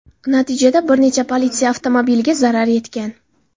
Natijada bir necha politsiya avtomobiliga zarar yetgan.